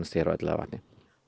hér á Elliðavatni